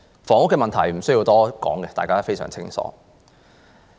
房屋問題無須多說，大家都非常清楚。